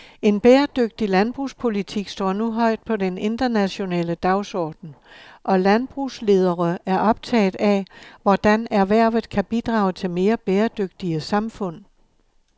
En bæredygtig landbrugspolitik står nu højt på den internationale dagsorden, og landbrugsledere er optaget af, hvordan erhvervet kan bidrage til mere bæredygtige samfund.